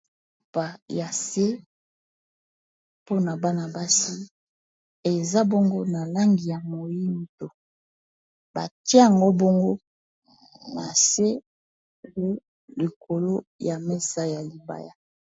Pa ya se pona bana basi eza bongo na langi ya moyindo batia ango bongo nase u likolo ya mesa ya libaya